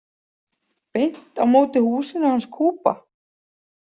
Beint á móti húsinu hans Kuba?